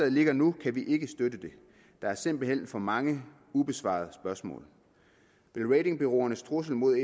ligger nu kan vi ikke støtte det der er simpelt hen for mange ubesvarede spørgsmål vil ratingbureauernes trussel mod